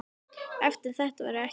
Eftir þetta varð ekki aftur snúið.